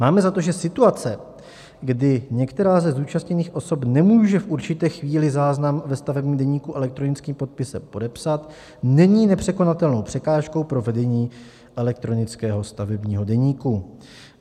Máme za to, že situace, kdy některá ze zúčastněných osob nemůže v určité chvíli záznam ve stavebním deníku elektronickým podpisem podepsat, není nepřekonatelnou překážkou pro vedení elektronického stavebního deníku.